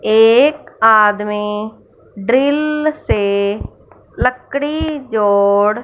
एक आदमी ड्रिल से लकड़ी जोड़--